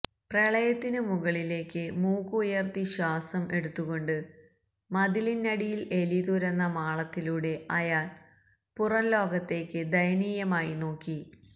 പ്രളയത്തിനുമുകളിലേക്ക് മൂക്ക് ഉയർത്തി ശ്വാസം എടുത്തുകൊണ്ട് മതിലിനടിയിൽ എലി തുരന്ന മാളത്തിലൂടെ അയാൾ പുറംലോകത്തേക്ക് ദയനീയമായി നോക്കി